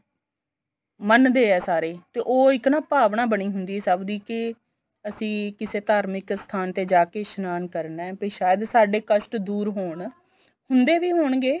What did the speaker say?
ਮੰਨਦੇ ਏ ਸਾਰੇ ਈ ਤੇ ਉਹ ਇੱਕ ਨਾ ਭਾਵਨਾ ਬਣੀ ਹੁੰਦੀ ਏ ਸਭ ਦੀ ਕੇ ਅਸੀਂ ਕਿਸੇ ਧਾਰਮਿਕ ਸਥਾਨ ਤੇ ਜਾ ਕੇ ਇਸ਼ਨਾਨ ਕਰਨਾ ਬੀ ਸਾਇਦ ਸਾਡੇ ਕਸ਼ਟ ਦੂਰ ਹੋਣ ਹੁੰਦੇ ਵੀ ਹੋਣਗੇ